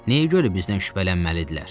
Nəyə görə bizdən şübhələnməlidirlər?